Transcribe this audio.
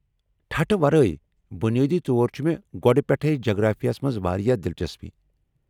ٹھٹھٕھ ورٲے، بنیٲدی طور چھِ مےٚ گۄڑٕ پیٚٹھے جغرافیہ ہس منٛز واریاہ دِلچسپی۔